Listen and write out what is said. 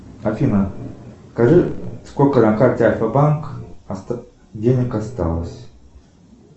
афина скажи сколько на карте альфа банк денег осталось